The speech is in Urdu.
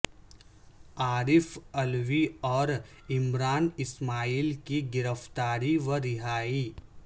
عارف علوی اور عمران اسماعیل کی گرفتاری و رہائی